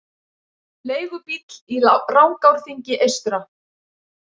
Leigubíll í Rangárþingi eystra